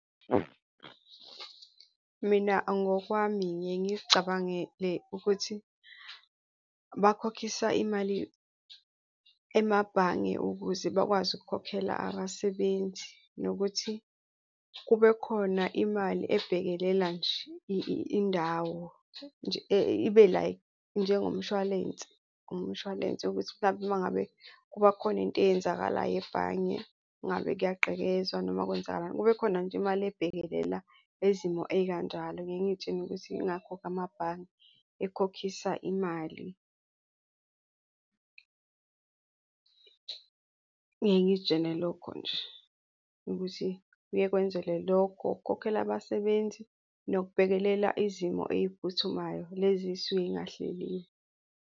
Mina ngokwami ngiye ngiy'cabangele ukuthi bakhokhisa imali emabhange ukuze bakwazi ukukhokhela abasebenzi nokuthi kube khona imali ebhekelela nje indawo nje ibe like njengomshwalense, umshwalense ukuthi mhlampe uma ngabe kuba khona into eyenzakalayo ebhange kungabe kuyaqekezwa noma kwenzakalani, kube khona nje imali ebhekelela izimo ey'kanjalo. Ngiye ngiy'tshela ukuthi yingakho amabhange ekhokhisa imali. Ngiye ngiy'tshele lokho nje ukuthi kuye kwenzele lokho ukukhokhela abasebenzi noku bhekelela izimo ey'phuthumayo lezi ey'suke zingahleliwe.